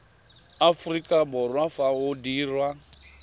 aforika borwa fa o dirwa